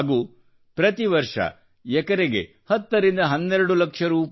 ಹಾಗೂ ಪ್ರತಿ ವರ್ಷ ಎಕರೆಯೊಂದಕ್ಕೆ 10 ರಿಂದ 12 ಲಕ್ಷ ರೂ